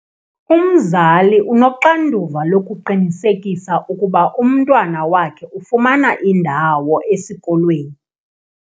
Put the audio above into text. Umzali unoxanduva lokuqinisekisa ukuba umntwana wakhe ufumana indawo esikolweni.